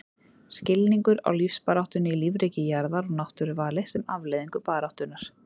Skilningur á lífsbaráttunni í lífríki jarðar og náttúruvali sem afleiðingu baráttunnar.